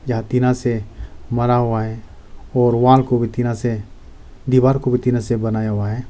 टीना से भरा हुआ है और वॉल को भी टीना से दीवार को भी टीना से बनाया हुआ है।